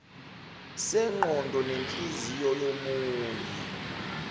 sengqondo nenhliziyo yomunye